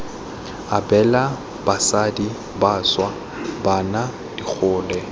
abela basadi bašwa bana digole